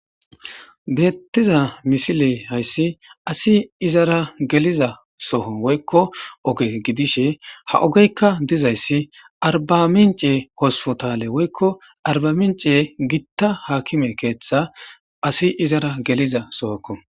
Beetiza misiley hayssi asi izara geliza soho woykko oge gidishin ha ogeykka dizayssi arbamince hopotale woykko arbamince gita hakime keeththa asi izara geliza sohoko.